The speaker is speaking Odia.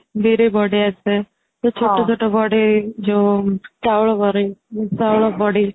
ବିରି ବଢି ଆସେ ସେ ଛୋଟ ଛୋଟ ବଢି ଯୋଉ ଚାଉଳ ବରି ଚାଉଳ ବଡି